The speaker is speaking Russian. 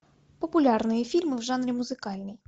популярные фильмы в жанре музыкальный